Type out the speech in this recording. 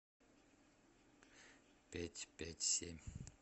пять пять семь